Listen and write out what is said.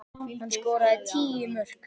Hann skoraði tíu mörk.